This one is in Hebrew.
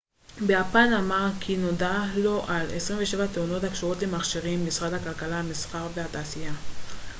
משרד הכלכלה המסחר והתעשייה meti ביפן אמר כי נודע לו על 27 תאונות הקשורות למכשירים